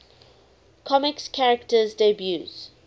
comics characters debuts